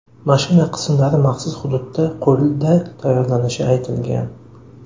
Mashina qismlari maxsus hududda qo‘lda tayyorlanishi aytilgan.